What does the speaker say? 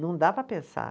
Não dá para pensar.